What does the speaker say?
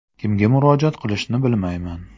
Kimga murojaat qilishni bilmayman.